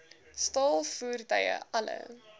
staal voertuie alle